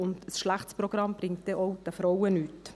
Ein schlechtes Programm bringt auch den Frauen nichts.